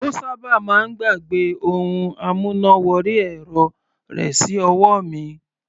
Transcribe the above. Ó sábà máa ń gbàgbẹ́ ohun amúná wọrí ẹ̀rọ rẹ̀ sí ọwọ́ mi.